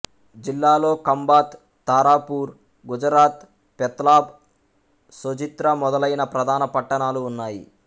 జిల్లాలో కంభాత్ తారాపూర్ గుజరాత్ పెత్లాబ్ సొజిత్ర మొదలైన ప్రధాన పట్టణాలు ఉన్నాయి